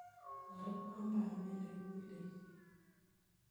Toreto panget ne kitilishe.